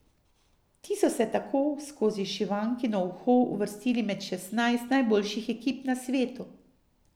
Ti so se tako skozi šivankino uho uvrstili med šestnajst najboljših ekip na svetu.